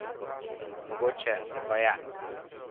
Mogoče se pa je.